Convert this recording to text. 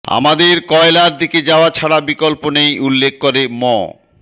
আমাদের কয়লার দিকে যাওয়া ছাড়া বিকল্প নেই উল্লেখ করে ম